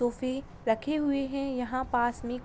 तोफे रखे हुए है यहाँ पास में--